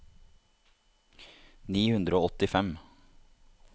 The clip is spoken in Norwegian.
ni hundre og åttifem